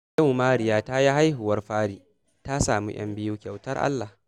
Yau Mariya ta yi hahuwar fari, ta samu 'yan biyu kyautar Allah